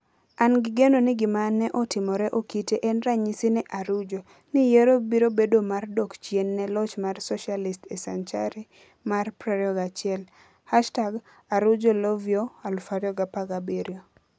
An gi geno ni gima ne otimore Okite en ranyisi ne Arujo, ni yiero biro bedo mar dok chien ne loch mar Socialist e senchari mar 21 #ArujoIvoyó2017